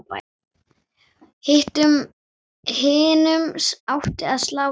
Hinum átti að slátra.